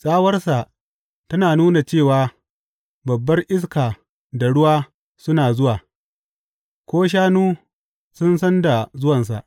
Tsawarsa tana nuna cewa babbar iska da ruwa suna zuwa; ko shanu sun san da zuwansa.